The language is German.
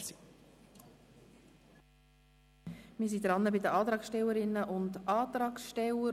Wir sind bei den Antragstellerinnen und Antragstellern.